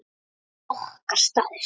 Þetta er okkar staður.